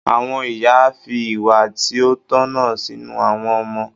Àwọn ìyá fi ìwà tí ó tọ̀nà sínú àwọn ọmọ.